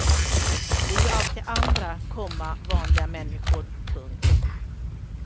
Det är ju alltid andra, komma vanliga människor. punkt